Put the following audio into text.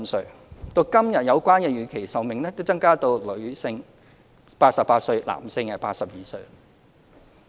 時至今日，有關預期壽命已增加至女性88歲，男性82歲。